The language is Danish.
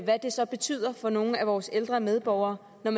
hvad det så betyder for nogle af vores ældre medborgere når